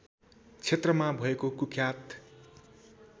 क्षेत्रमा भएको कुख्यात